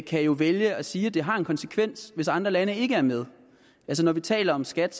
kan jo vælge at sige at det har en konsekvens hvis andre lande ikke er med når vi taler om skat